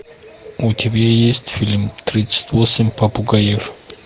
у тебя есть фильм тридцать восемь попугаев